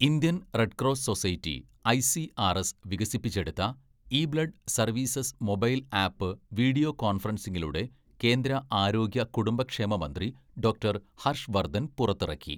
Indian red cross society ICRS വികസിപ്പിച്ചെടുത്ത e blood services mobile app video കോൺഫറൻസിംഗിലൂടെ കേന്ദ്ര ആരോഗ്യ കുടുംബക്ഷേമ മന്ത്രി ഡോക്ടർ ഹർഷ് വർധൻ പുറത്തിറക്കി.